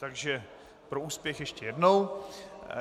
Takže pro úspěch ještě jednou.